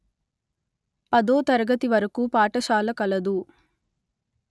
పదో తరగతి వరకు పాఠశాల కలదు